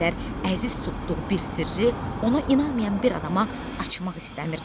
Bu qədər əziz tutduğu bir sirri ona inanmayan bir adama açmaq istəmirdi.